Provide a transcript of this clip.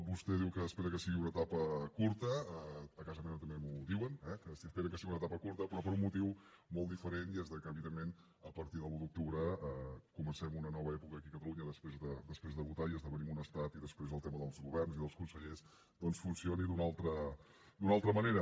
vostè diu que espera que sigui una etapa curta a casa meva també m’ho diuen eh que esperen que sigui una etapa curta però per un motiu molt diferent i és que evidentment a partir de l’un d’octubre comencem una nova època aquí a catalunya després de votar i esdevinguem un estat i després el tema dels governs i dels consellers doncs funcioni d’una altra manera